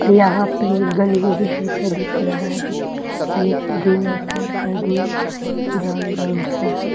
यहाँ पे गलियेरी जैसे दिख रहा है बीच में मिलिट्री ग्रीन और साइड - साइड में ब्राउन - ब्राउन सा है ।